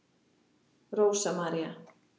Rósa María.